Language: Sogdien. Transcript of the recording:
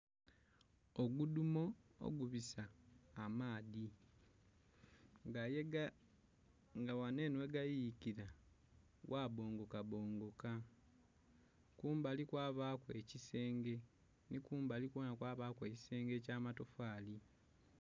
Ogudumo ogubisa amaadi nga ghaneno ghegayuyikira ghabongokabongoka kumbali kwabaku ekisenge nikumbali kwona kwabaku ekisenge ekyamatofali